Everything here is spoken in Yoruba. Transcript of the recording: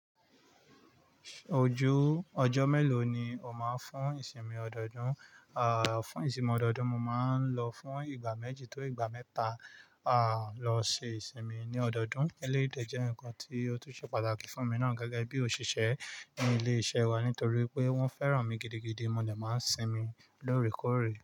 Ojú ọjọ́ mélòó ni o máa ń fún ìsinmi ọdọọdún? À, fún ìsinmi ọdọọdún, mo máa ń lọ fún ìgbà méjì tó ìgbà mẹ́ta, à, lọ ṣe ìsinmi ní ọdọọdún. Eleyiì dẹ́ jẹ́ nǹkan tí ó tún ṣe pàtàkì fún mi náà gẹ́gẹ́ bí òṣìṣẹ́ nínu ilé iṣẹ́ wa nítorí pé wọ́n fẹ́ràn mi gidigidi. Mo de máa ń sinmi lóòrèkóòrè.